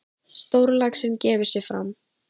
Stórlaxinn gefur sig fram.